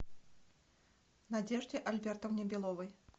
надежде альбертовне беловой